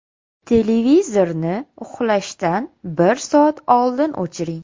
Televizorni uxlashdan bir soat oldin o‘chiring.